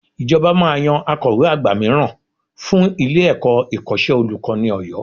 Ìjọba máa yan Akọ̀we àgbà mìíràn fún ilé-ẹ̀kọ́ Ìkọ́ṣẹ́ Olùkọ́ni Ọ̀yọ́